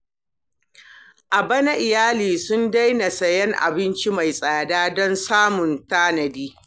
A bana, iyali sun daina siyan abinci mai tsada don samun tanadi.